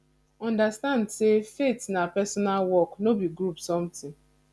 understand say faith na personal work no be group something